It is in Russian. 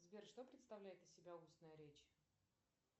сбер что представляет из себя устная речь